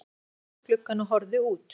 Hann staðnæmdist við gluggann og horfði út.